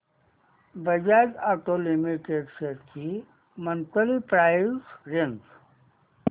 Bajaj auto limited shares ची monthly price range